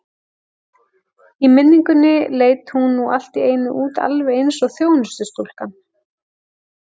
Í minningunni leit hún nú allt í einu út alveg eins og þjónustustúlkan.